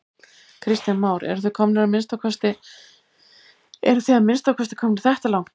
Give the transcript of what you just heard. Kristján Már: En þið eruð að minnsta kosti komnir þetta langt?